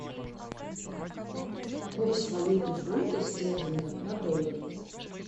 курс валюты фунта стерлинга на доллары